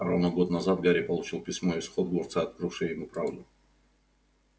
а ровно год назад гарри получил письмо из хогвартса открывшее ему правду